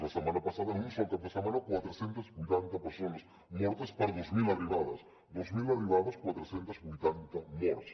la setmana passada en un sol cap de setmana quatre cents i vuitanta persones mortes per dos mil arribades dos mil arribades quatre cents i vuitanta morts